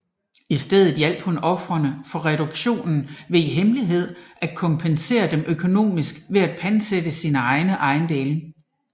I stedet hjalp hun ofrene for reduktionen ved i hemmelighed at kompensere dem økonomisk ved at pantsætte sine egne ejendele